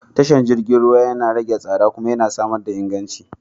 Tashar jirgin ruwa yana rage tsada kuma yana samar da inganci.